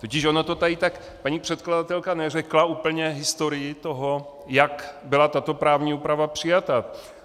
Totiž ono to tady tak - paní předkladatelka neřekla úplně historii toho, jak byla tato právní úprava přijata.